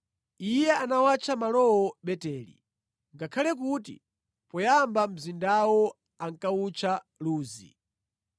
Iye anawatcha malowo Beteli, ngakhale kuti poyamba mzindawo ankawutcha Luzi.